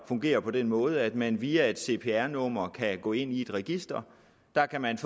fungere på den måde at man via et cpr nummer kan gå ind i et register der kan man